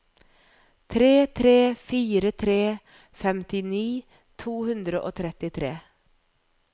tre tre fire tre femtini to hundre og trettitre